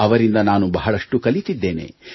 ಅವರಿಂದ ನಾನು ಬಹಳಷ್ಟು ಕಲಿತಿದ್ದೇನೆ